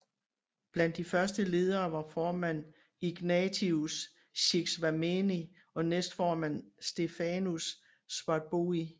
Blandt de første ledere var formand Ignatius Shixwameni og næsteformand Stephanus Swartbooi